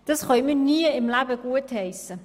Dies können wir nie im Leben gutheissen.